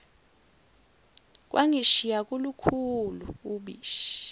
kwangishiya kolukhulu ubishi